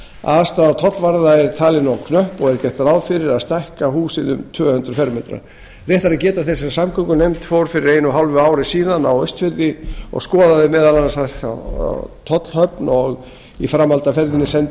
aðstaða tollvarða er talin of knöpp og er gert ráð fyrir að stækka húsið um tvö hundruð fermetra rétt er að geta þess að samgöngunefnd fór fyrir einu og hálfu ári síðan á austfirði og skoðaði meðal annars tollhöfn og í framhaldi af því sendi